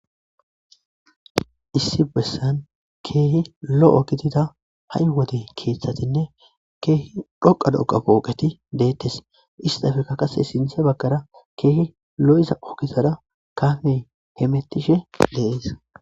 issi bessan keehi lo7ogitida ha7i wode keeththatinne keehi dhoqa doqa pooqeti deettes istafeka kase sinthe baggara keehi lo7iza ogizada kafe hemettishe deees